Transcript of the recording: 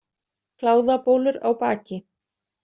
Kláðabólur á baki.